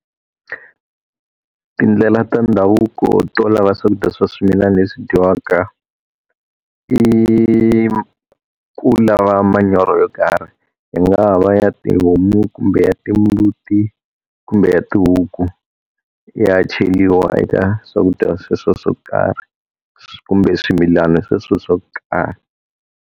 Tindlela ta ndhavuko to lava swakudya swa swimilana leswi dyiwaka, i ku lava manyoro yo karhi. Hi nga va ya tihomu, kumbe ya timbuti, kumbe ya tihuku, ya cheriwa eka swakudya sweswo swo karhi kumbe swimilana sweswo swo karhi.